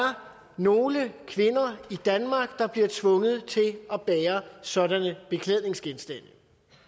nogle kvinder i danmark der bliver tvunget til at bære sådanne beklædningsgenstande